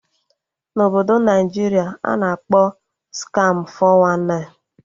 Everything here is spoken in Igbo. Na Obodo Naịjiria a na-akpọ Skamụ 419